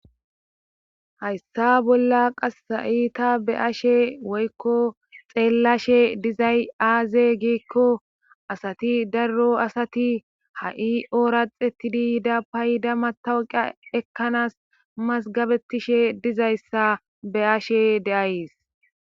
Hayssa bolla qassaiita be ashe woykko xeellashe dizay aaze giikko asati darro asati ha'i ooraxetidi yida payda matawqa ekkanas masgabetishe dizayssa be ashe deays